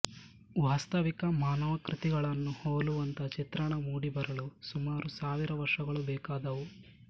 ವಾಸ್ತವಿಕ ಮಾನವಾಕೃತಿಗಳನ್ನು ಹೋಲುವಂಥ ಚಿತ್ರಣ ಮೂಡಿಬರಲು ಸುಮಾರು ಸಾವಿರ ವರ್ಷಗಳು ಬೇಕಾದವು